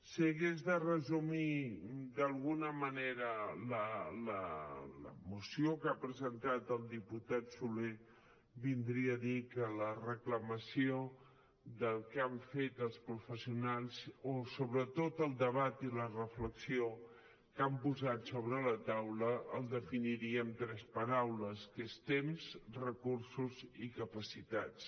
si hagués de resumir d’alguna manera la moció que ha presentat el diputat soler vindria a dir que la reclamació del que han fet els professionals o sobretot el debat i la reflexió que han posat sobre la taula el definiríem amb tres paraules que són temps recursos i capacitats